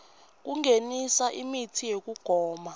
kungenisa imitsi yekugoma